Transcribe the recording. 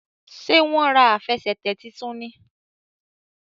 Ṣe wón rà Àfẹsẹ̀tẹ̀ títún ní?